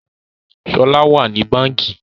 Shola wá ní Bánkì.